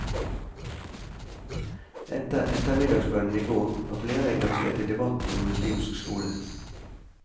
Etter ettermiddagsbønnen i går, var flere engasjert i debatten om muslimsk skole.